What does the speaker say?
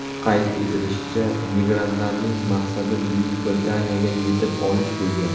Qayd etilishicha, migrantlarning maqsadi Buyuk Britaniyaga yetib olish bo‘lgan.